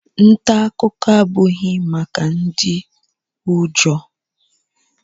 Nta akụkọ abụghị maka ndị ụjọ